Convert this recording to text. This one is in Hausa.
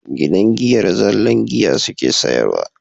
Gidan giyar zallan giya suke sayarwa